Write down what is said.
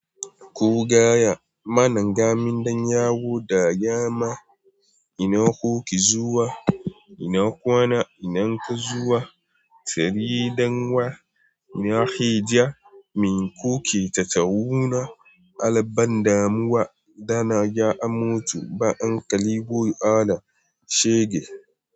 Ko gaya, mana ngamin dan yawo da yama. Ina kuke zuwa? Ina kwana? Ina ka zuwa? Tariɗan wa? Ina ke ja? Min kuke tattawuna? Albann damuwa, da na ga amato, ba'an kalibo ana shege.